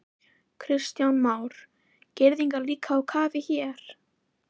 Kristján Már: Girðingar líka á kafi hér?